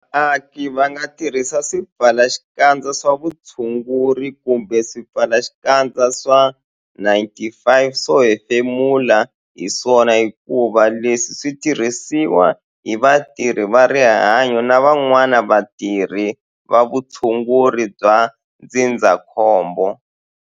Vaaki va nga tirhisi swipfalaxikandza swa vutshunguri kumbe swipfalaxikandza swa N-95 swo hefemula hi swona hikuva leswi swi tirhisiwa hi vatirhi va rihanyo na van'wana vatirhi va vutshunguri bya ndzindzakhombo.